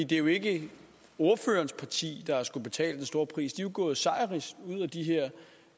det er jo ikke ordførerens parti der har skullet betale den store pris man jo gået sejrrigt ud af de her